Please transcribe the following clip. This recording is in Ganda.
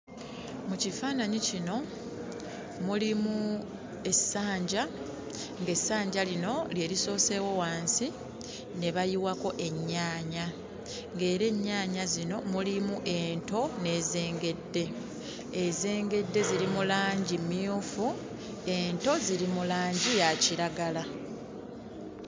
Mu kifaananyi kino mulimu essanja, ng'essanja lino lye lisooseewo wansi ne bayiwako ennyaanya nga era ennyaanya zino mulimu ento n'ezengedde. Ezengedde ziri mu langi mmyufu, ento ziri mu langi ya kiragala.